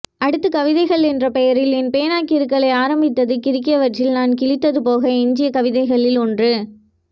அடுத்து கவிதைகள் என்ற பெயரில் என் பேனா கிறுக்கலை ஆரம்பித்தது கிறுக்கியவற்றில் நான் கிழித்தது போக எஞ்சிய கவிதைகளில் ஒன்று